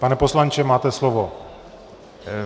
Pane poslanče, máte slovo.